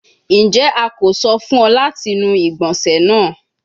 Njẹ a ko sọ fun ọ lati nu igbonse naa?